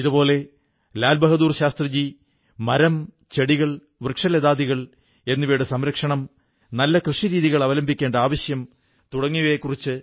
ഇതേപോലെ ലാൽ ബഹാദുർശാസ്ത്രി മരം ചെടികൾ വൃക്ഷലതാദികൾ എന്നിവയുടെ സംരക്ഷണം നല്ല കൃഷിരീതികൾ അവലംബിക്കേണ്ട ആവശ്യം തുടങ്ങിയവയെക്കുറിച്ച്